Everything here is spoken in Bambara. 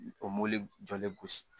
O mobili jɔlen gosi